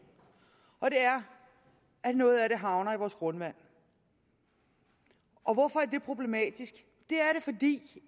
at noget af det havner i vores grundvand hvorfor er det problematisk det